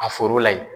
A foro la yen